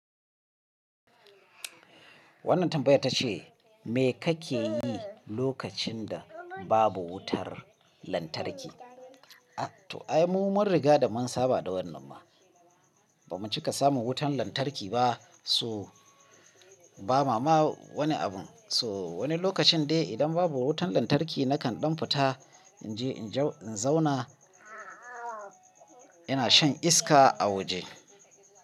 Wannan tambayar ta ce, me kake yi lokacin da babu wutar lantarki? To ai mu mun riga da mun saba da wannan ma. Bamu cika samun wutar lantarki ba, so ba ma ma wani abun. So wani lokacin dai idan babu wutan lantarki na kan ɗan fita in je in zauna ina shan iska a waje.